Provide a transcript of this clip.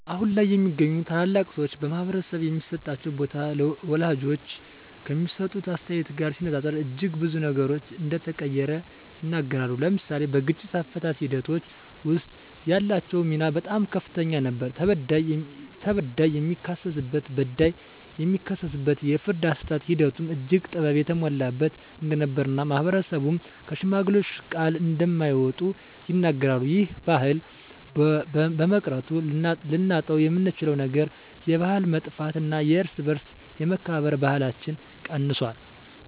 አሁን ላይ የሚገኙ ታላላቅ ሰወች በማህበረሰቡ የሚሰጣቸው ቦታ ወላጆች ከሚሰጡት አስተያየት ጋር ሲነፃፀር እጅግ ብዙ ነገሮች እንደተቀየረ ይናገራሉ። ለምሳሌ በግጭት አፈታት ሒደቶች ወስጥ ያላቸው ሚና በጣም ከፍተኛ ነበር ተበዳይ የሚካስበት በዳይ የሚክስበት የፍርድ አሰጣጥ ሒደቱም እጅግ ጥበብ የተሞላበት እንደነበር እና ማህበረሰብም ከሽማግሌወች ቃል እንደማይወጡ ይናገራሉ። ይህ ባህል በመቅረቱ ልናጣውየምንችለው ነገር የባህል መጥፍት እና የእርስ በእርስ የመከባበር ባህለች ቀንሶል።